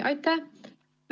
Aitäh!